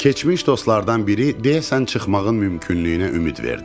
Keçmiş dostlardan biri deyəsən çıxmağın mümkünlüyünə ümid verdi.